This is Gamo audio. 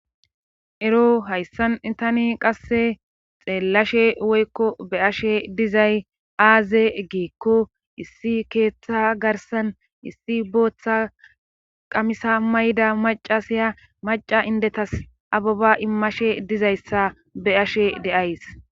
Ero hayssan itani qasse xeellashe woykko be ashe dizay aaze giekko issi keeththa garsan issi booththa qamisa mayda maca siya maca indetas ababa immashe dizayssa beashe deays.